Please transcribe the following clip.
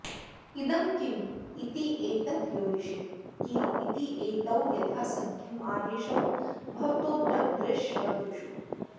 इदं किम् इत्येतयोरीश् की इत्येतौ यथासङ्ख्यम् आदेशौ भवतो दृग्दृशवतुषु